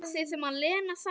Að því sem Lena sagði.